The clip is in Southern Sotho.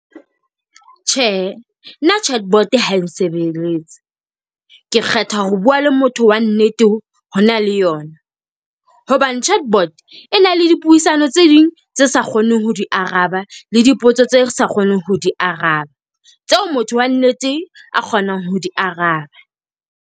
Tjhe, nna chatbot ha e nsebeletse. Ke kgetha ho bua le motho wa nnete, ho na le yona. Hobane chatbot e na le dipuisano tse ding tse sa kgoneng ho di araba, le dipotso tse re sa kgoneng ho di araba, tseo motho wa nnete a kgonang ho di araba.